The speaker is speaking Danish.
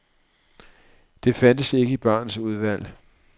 Det fandtes ikke i barens udvalg.